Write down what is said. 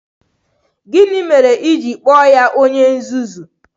Gịnị mere i ji kpọọ ya onye nzuzu?